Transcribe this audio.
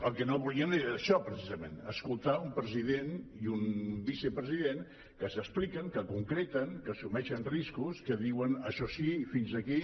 el que no volien era això precisament escoltar un president i un vicepresident que s’expliquen que concreten que assumeixen riscos que diuen això sí i fins aquí